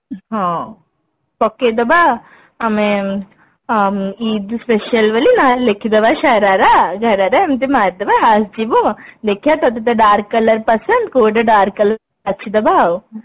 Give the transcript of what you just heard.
ହଁ ପକେଇଦବା ଆମେ ଆଁ ମ ଇଦ special ବୋଲି ନହେଲେ ଲେଖିଦବା ସାରାରା ଘରାରା ଏମତି ମାରି ଦବା ଆସିଯିବ ଦେଖିବା ତତେ ତ dark color ପସନ୍ଦ କୋଉଟା dark color ବାଛି ଦବା ଆଉ